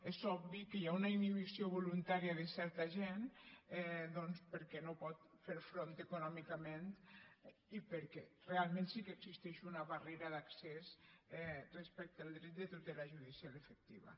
és obvi que hi ha una inhibició voluntària de certa gent doncs perquè no hi pot fer front econòmicament i perquè realment sí que existeix una barrera d’accés respecte al dret de tutela judicial efectiva